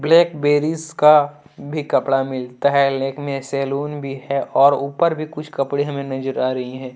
Blackberries का भी कपड़ा मिलता है लेक्मे सैलून भी है और ऊपर भी कुछ कपड़े हमे नजर आ रही है।